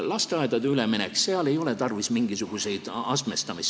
Lasteaedade üleminekul ei ole tarvis mingisugust astmestamist.